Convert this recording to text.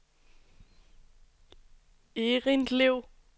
Errindlev